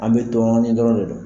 An mɛ dɔɔni dɔrɔn de dɔn.